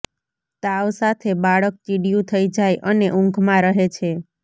તાવ સાથે બાળક ચીડિયું થઈ જાય અને ઊંઘમાં રહે છે